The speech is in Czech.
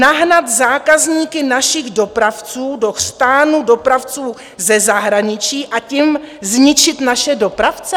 Nahnat zákazníky našich dopravců do chřtánu dopravců ze zahraničí a tím zničit naše dopravce?